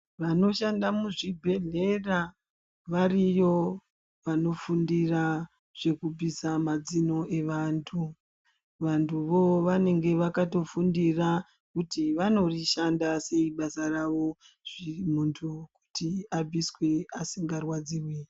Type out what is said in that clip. Vanoshanda muzvibhedhlera variyo, vanofundira zvekubvisa mazino evantu. Vantuwo vanenge vakatofundira kuti vanorishanda sei basa ravo, zviri muntu kuti abviswe asingarwadziwi.